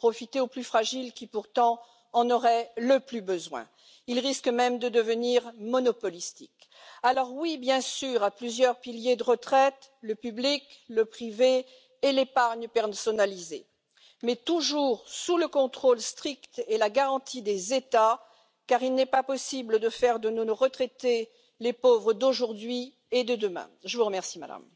which encourages people to put money aside from a very early age. We should encourage people to save, and that is a personal responsibility, but it also makes sure that the mix of public policy is right. We have this vast difference from Member States east, west, north and south we have a vast difference when it comes to occupational pensions. Anything we do should not undermine or diminish the existing savings in Member States that have good pension coverage systems in place. We need to tread carefully in this area to make sure that we give protection to savers and protect people who are putting part of their income on a weekly or monthly basis aside.